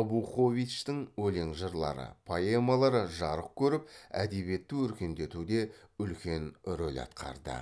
абуховичтің өлең жырлары поэмалары жарық көріп әдебиетті өркендетуде үлкен рөл атқарды